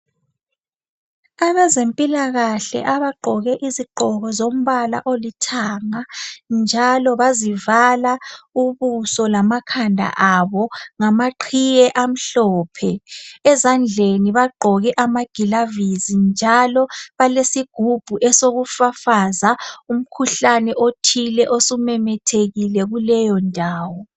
Abazempilakahle abagqoke izigqoko zombala olithanga njalo bazivala ubuso lamakhanda abo ngamaqhiye amhlophe. Ezandleni bagqoke amagilovisi njalo balesigubhu esokufafaza umkhuhlane othile osumemethekile kuleyondawo.